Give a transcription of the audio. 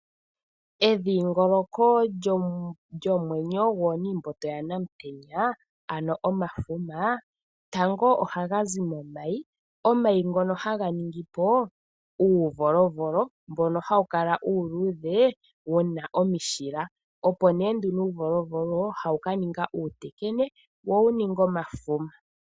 Edhingoloko lyomwenyo gooniimboto ya Namutenya ano omafuma, tango ohaga zi momayi. Omayi ngono haga ningi po uuvolovolo mbono hawu kala uuludhe wuna omishila. Opo nee nduno uuvolovolo hawu ka ninga uutekene wo wu ninge omafuma.